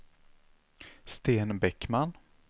Sten Bäckman